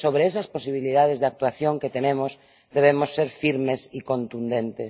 Pero, sobre esas posibilidades de actuación que tenemos, debemos ser firmes y contundentes.